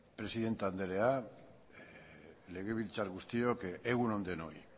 presidente andrea legebiltzarkide guztiok egun on denok